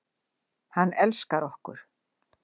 Hann elskar okkur.